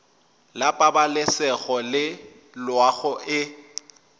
la pabalesego le loago e